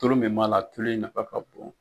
Tulu min b'a la tulo in nafa ka bon.